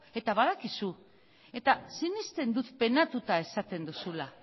eta badakizu eta sinesten dut penatuta esaten duzula